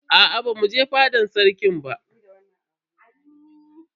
Aa bamu je fadan sarki ba.